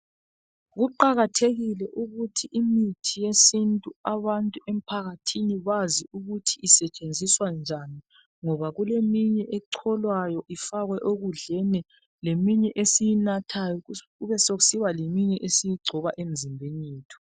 Kuqakathekile ukuthi imithi yesintu abantu emphakathini bazi ukuthi isetshenziswa njani ngoba kuleminye echolwayo ifakwe ekudleni leminye esiyinathayo kube sokusiba leminya esiyigcoba emizimbeni yethu.